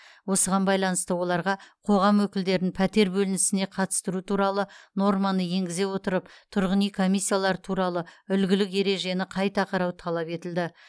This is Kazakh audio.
осыған байланысты оларға қоғам өкілдерін пәтер бөлінісіне қатыстыру туралы норманы енгізе отырып тұрғын үй комиссиялары туралы үлгілік ережені қайта қарау талап етілді